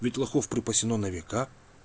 светлаков припасена века